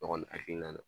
Ne kɔni hakilina na